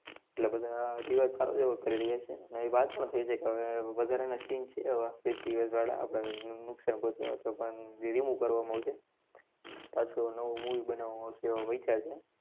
એટલે બધા વિવાદ સારો કરી રહ્યાં છે. ને ઈ વાત પણ થઈ છે કે હવે વધારાના scene છે એવા વાળા આપડા નુક~, નુકસાન પહોંચે એવા તો પણ remove કરવામાં આવશે. પાછું નવું movie બનાવામાં આવશે એવો વિચાર છે.